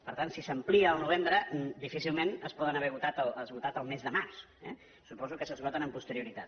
per tant si s’amplia al novembre difícilment es poden haver esgotat al mes de març eh suposo que s’esgoten amb posterioritat